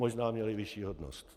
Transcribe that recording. Možná měli vyšší hodnost.